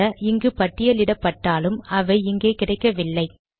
சில இங்கு பட்டியலிடப்பட்டாலும் அவை இங்கே கிடைக்கவில்லை